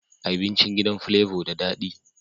Abincin gidan flavor da dadi